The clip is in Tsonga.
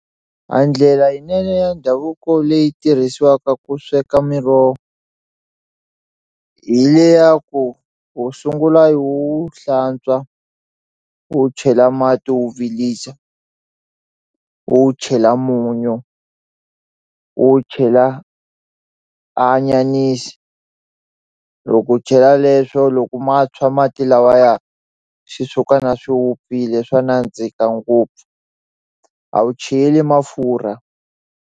A ndlela leyinene ya ndhavuko leyi tirhisiwaka ku sweka miroho hi le ya ku u sungula i wu hlantswa u wu chela mati u wu vilisa u wu chela munyu u chela a anyanisi loko u chela leswo loko ma tshwa mati lawaya xi tshuka na swi vupfile swa nandzika ngopfu a wu cheli mafurha.